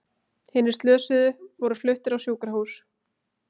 Hinir slösuðu voru fluttir á sjúkrahús